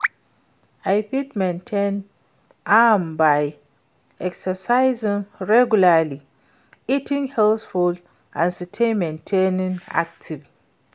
i fit maintain am by exercising regularly, eating healthy foods and stay mentally active.